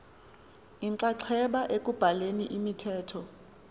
inxaxheba ekubhaleni imithetho